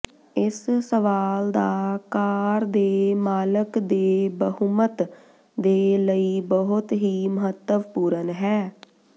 ਇਸ ਸਵਾਲ ਦਾ ਕਾਰ ਦੇ ਮਾਲਕ ਦੇ ਬਹੁਮਤ ਦੇ ਲਈ ਬਹੁਤ ਹੀ ਮਹੱਤਵਪੂਰਨ ਹੈ